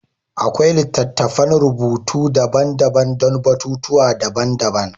Akwai littattafan rubutu daban-daban don batutuwa daban-daban.